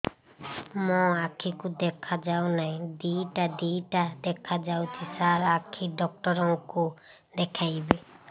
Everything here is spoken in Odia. ମୋ ଆଖିକୁ ଦେଖା ଯାଉ ନାହିଁ ଦିଇଟା ଦିଇଟା ଦେଖା ଯାଉଛି ସାର୍ ଆଖି ଡକ୍ଟର କୁ ଦେଖାଇବି